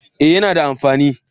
Eh yana da amfani